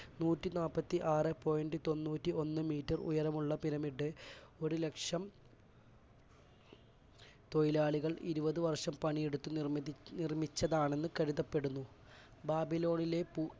നൂറ്റിനാല്പത്തിആറേ point തൊണ്ണൂറ്റിഒന്ന് metre ഉയരമുള്ള pyramid ഒരുലക്ഷം തൊഴിലാളികൾ ഇരുപത് വർഷം പണിയെടുത്ത് നിർമിതി~നിർമിച്ചതാണെന്ന് കരുതപ്പെടുന്നു.